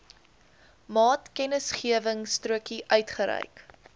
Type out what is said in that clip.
maatkennisgewingstrokie uitgereik